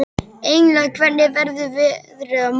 Engla, hvernig verður veðrið á morgun?